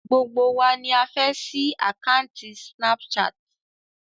Gbogbo wa ni a fẹ ṣí àkanti snapchat.